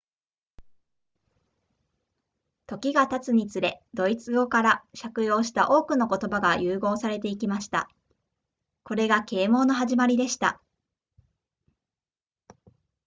時が経つにつれドイツ語から借用した多くの言葉が融合されていきましたこれが啓蒙の始まりでした